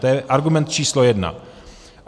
To je argument číslo jedna.